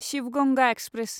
Shiva Ganga express